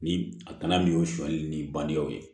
Ni a tana min y'o sonyali ni bangew ye